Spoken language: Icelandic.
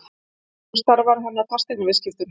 Nú starfar hann að fasteignaviðskiptum.